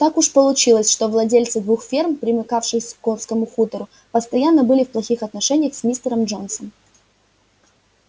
так уж получилось что владельцы двух ферм примыкавших к скотскому хутору постоянно были в плохих отношениях с мистером джонсом